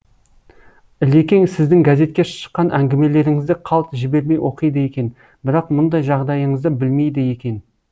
ілекең сіздің газетке шыққан әңгімелеріңізді қалт жібермей оқиды екен бірақ мұндай жағдайыңызды білмейді екен